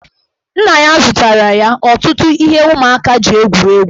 Nna ya zụtara ya ọtụtụ ihe ụmụaka ji egwuri egwu.